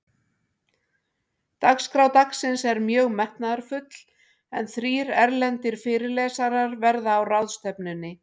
Dagskrá dagsins er mjög metnaðarfull, en þrír erlendir fyrirlesarar verða á ráðstefnunni.